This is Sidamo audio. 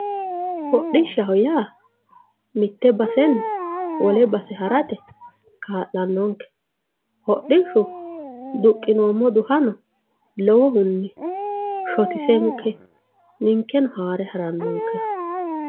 hodhishshaho yaa mitte basenni wole base harate kaa'lannonke hodhishshu duqqinoommo duhano lowohunni shotisenke ninkeno haare harannonkeha.